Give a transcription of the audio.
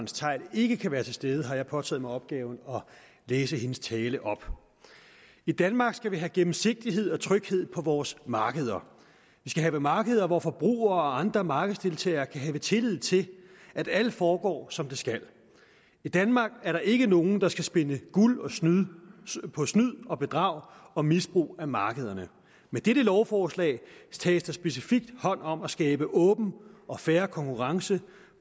theil ikke kan være til stede har jeg påtaget mig opgaven at læse hendes tale op i danmark skal vi have gennemsigtighed og tryghed på vores markeder vi skal have markeder hvor forbrugere og andre markedsdeltagerne kan have tillid til at alt foregår som det skal i danmark er der ikke nogen der skal spinde guld på snyd og bedrag og misbrug af markederne med dette lovforslag tages der specifikt hånd om at skabe åben og fair konkurrence